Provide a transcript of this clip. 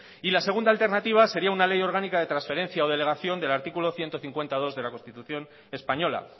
y la segunda alternativa sería una ley orgánica de transferencia o delegación del artículo ciento cincuenta punto dos de la constitución española